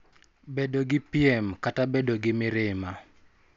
Bedo gi piem, kata bedo gi mirima.